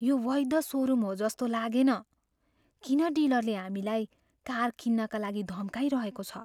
यो वैध सोरुम हो जस्तो लागेन। किन डिलरले हामीलाई कार किन्नाका लागि धम्काइरहेको छ?